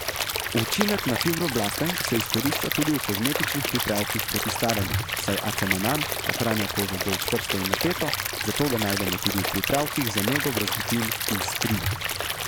Učinek na fibroblaste se izkorišča tudi v kozmetičnih pripravkih proti staranju, saj acemanan ohranja kožo bolj čvrsto in napeto, zato ga najdemo tudi v pripravkih za nego brazgotin in strij.